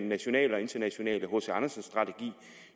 nationale og internationale hc andersen strategi